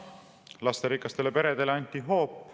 Lasterikastele peredele anti hoop.